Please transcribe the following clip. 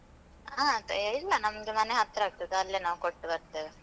ಆ, ತ ಇಲ್ಲ. ನಮ್ದು ಮನೆ ಹತ್ರ ಆಗ್ತದೆ. ಅಲ್ಲೇ ನಾವ್ ಕೊಟ್ಟು ಬರ್ತೇವೆ.